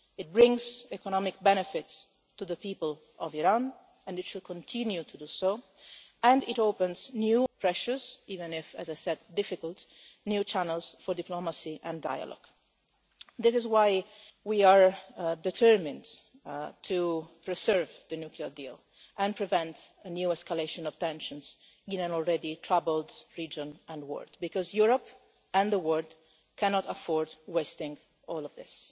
East. It brings economic benefits to the people of Iran, and it should continue to do so, and it opens precious new channels albeit difficult ones, as I said for diplomacy and dialogue. This is why we are determined to preserve the nuclear deal and prevent a new escalation of tensions in an already troubled region and world, because Europe and the world cannot afford wasting all of this.